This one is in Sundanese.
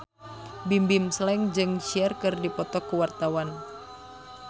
Bimbim Slank jeung Cher keur dipoto ku wartawan